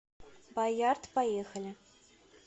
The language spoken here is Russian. баярд поехали